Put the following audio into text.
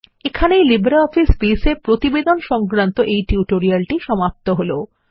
এখানেই LibreOffice base এ প্রতিবেদন সংক্রান্ত এই টিউটোরিয়ালটি সমাপ্ত হল